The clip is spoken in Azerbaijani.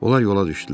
Onlar yola düşdülər.